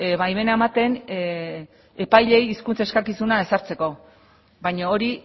baimena ematen epaileei hizkuntza eskakizuna ezartzeko baina hori